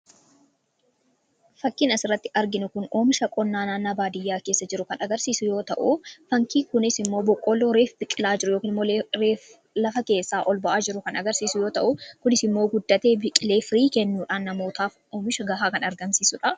Fakkiin asirratti arginu kun fakkii qonnaa naannoo baadiyyaa keessa jiru kan agarsiisu yoo ta'u kunis immoo boqqoolloo reefu biqilaa jiru reefu lafa keessaa ol bahaa jiru kan agarsiisu yoo ta'u, kunis immoo guddatee biqilee firii kennuudhaan namootaaf oomisha gahaa kan argamsiisudha.